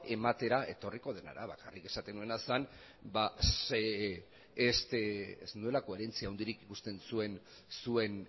ematera etorriko dena araban bakarrik esaten nuena zen ba ez nuela koherentzia handirik ikusten zuen